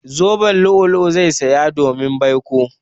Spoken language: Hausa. Zoben lu'ulu'u zai zaya domin baiko.